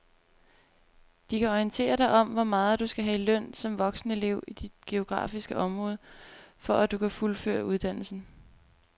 De kan orientere dig om hvor meget du skal have i løn som voksenelev i dit geografiske område, for at du kan fuldføre uddannelsen.